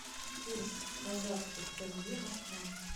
курс казахских тенге москва